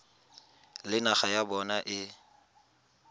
le naga ya bona e